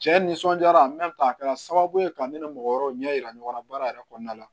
Cɛ nisɔndiyara a kɛra sababu ye ka ne ni mɔgɔ wɛrɛw ɲɛ yira ɲɔgɔn na baara yɛrɛ kɔnɔna la